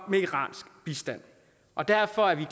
med iransk bistand og derfor er vi